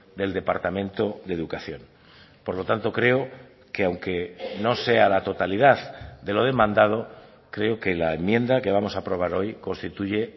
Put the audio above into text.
del departamento de educación por lo tanto creo que aunque no sea la totalidad de lo demandado creo que la enmienda que vamos a aprobar hoy constituye